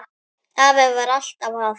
Afi var alltaf að.